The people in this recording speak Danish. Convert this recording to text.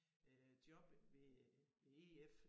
Øh job ved øh ved EF